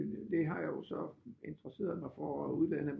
Det har jeg jo så interesseret mig for og uddannet